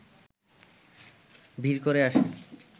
ভিড় করে আসে